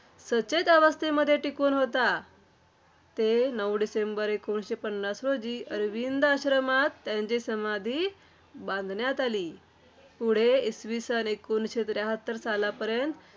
सचेत अवस्थेमध्ये टिकून होता. ते नऊ डिसेंबर एकोणीसशे पन्नास रोजी श्रीअरविंद आश्रमात त्यांची समाधी बांधण्यात आली. पुढे इसवी सन एकोणीसशे त्र्याहत्तर सालापर्यंत